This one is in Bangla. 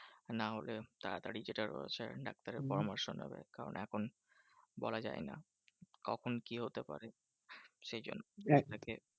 নাহলে তাড়াতাড়ি যেটা রয়েছে ডাক্তারের পরামর্শ নাও। কারণ এখন বলা যায় না কখন কি হতে পারে? সেই জন্য